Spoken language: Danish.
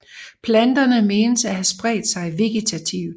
Planterne menes at have spredt sig vegetativt